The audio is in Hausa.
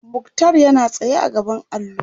muktar yana tsaye a gaban allo